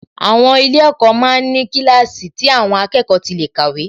Àwọn ilé-ẹ̀kọ́ ma ń ní kíláàsì tí àwọn akẹ́kọ̀ọ́ tí lè kàwé